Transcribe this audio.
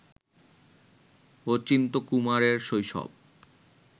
অচিন্ত্যকুমারের শৈশব